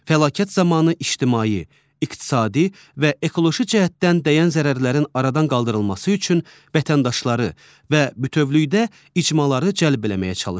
Fəlakət zamanı ictimai, iqtisadi və ekoloji cəhətdən dəyən zərərlərin aradan qaldırılması üçün vətəndaşları və bütövlükdə icmaları cəlb eləməyə çalışır.